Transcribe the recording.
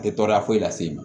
A tɛ tɔɔrɔya foyi las'i ma